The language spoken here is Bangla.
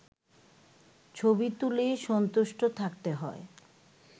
ছবি তুলেই সন্তুষ্ট থাকতে হয়